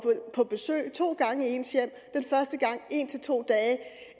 på besøg to gange i ens hjem den første gang en to dage